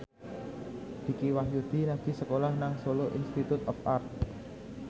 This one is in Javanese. Dicky Wahyudi lagi sekolah nang Solo Institute of Art